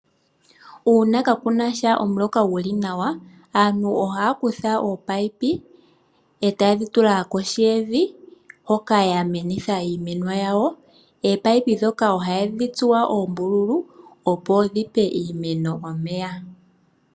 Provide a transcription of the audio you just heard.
Uuna kaakuna sha omuloka guli nawa aantu ohaya kutha ominino etaye dhi tula kohi kevi hoka ya menitha iimeno yawo. Ominino ndhoka ohadhi tsuwa oombululu opo dhipe iimeno omeya.